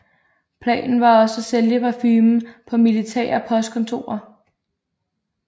Planen var også at sælge parfumen på militære postkontorer